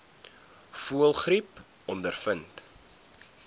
voëlgriep ondervind